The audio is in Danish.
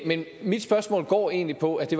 men mit spørgsmål går egentlig på at det